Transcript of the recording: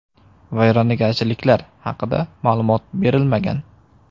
Vayronagarchiliklar haqida ma’lumot berilmagan.